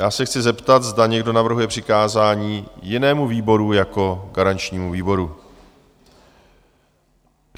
Já se chci zeptat, zda někdo navrhuje přikázání jinému výboru jako garančnímu výboru?